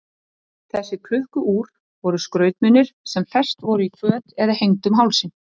Þessi klukku-úr voru skrautmunir sem fest voru í föt eða hengd um hálsinn.